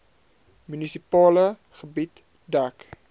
munisipale gebied dek